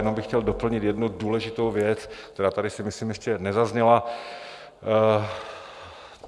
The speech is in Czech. Jenom bych chtěl doplnit jednu důležitou věc, která tady si myslím ještě nezazněla.